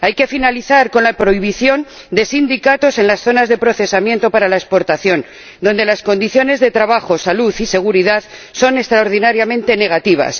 Hay que acabar con la prohibición de sindicatos en las zonas de procesamiento para la exportación, donde las condiciones de trabajo, salud y seguridad son extraordinariamente negativas.